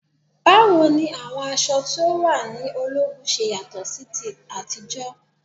Báwo ni àwọn aṣọ tí o wà ní ológun ṣe yàtọ̀ sí ti àtijọ́?